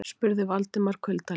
spurði Valdimar kuldalega.